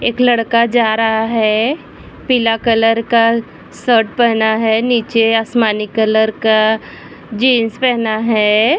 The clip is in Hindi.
एक लड़का जा रहा है। पीला कलर का शर्ट पहना है निचे आसमानी कलर का जीन्स पहना है।